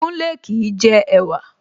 Kúnlé kìí jẹ ẹ̀wa